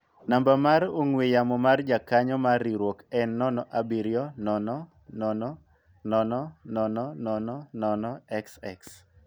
namba mar ong'we yamo mar jakanyo mar riwruok en 070000000xx